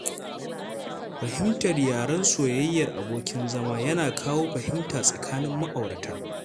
Fahimtar yaren soyayyar abokin zama yana kawo fahimta tsakanin ma'aurata